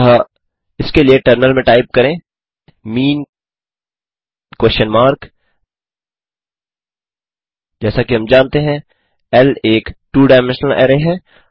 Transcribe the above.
अतः इसके लिए टर्मिनल में टाइप करें मीन क्वेस्शन मार्क जैसा कि हम जानते हैं ल एक टू डायमेंशनल अरै है